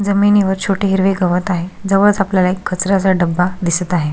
जमीनीवर छोटे हिरवे गवत आहे जवळच आपल्याला एक कचर्याचा डबा दिसत आहे.